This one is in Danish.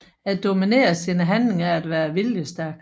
At dominere sine handlinger er at være viljestærk